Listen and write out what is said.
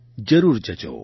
જરૂર જજો